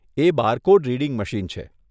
એ barcode reading machine છે.